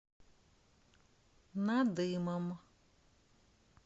надымом